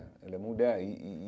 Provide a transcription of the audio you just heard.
Ela é mulher e e e.